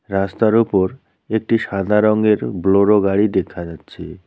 রাস্তার উপর একটি সাদা রংয়ের বুলোরো গাড়ি দেখা যাচ্ছে।